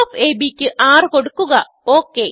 length of അബ് ക്ക് 6 കൊടുക്കുക